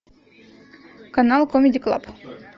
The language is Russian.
канал камеди клаб